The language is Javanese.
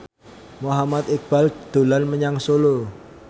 Muhammad Iqbal dolan menyang Solo